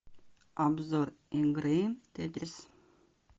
обзор игры тетрис